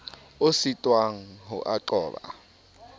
o sitwang ho a qoba